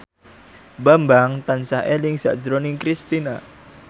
Bambang tansah eling sakjroning Kristina